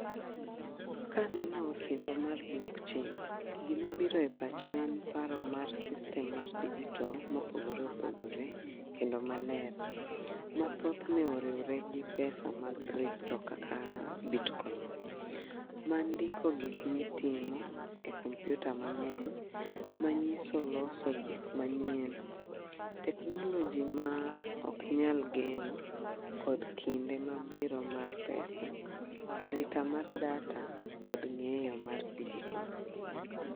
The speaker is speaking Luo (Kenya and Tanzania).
Kaneno osimbo mar block chain, gimabiro e pacha en paro mar system mar digital mopogore opogore ,kendo maler. Mathothne oriwre gi pesa mag crypto kaka bitcoin ,mandiko gik mitimo e kompyuta mang'eny, manyiso loso gik manyien. Teknoloji ma ok nyal geno kod kinde mabiro mar pesa arita mar data kod ng'eyo mar digital.